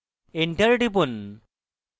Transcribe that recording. enter টিপুন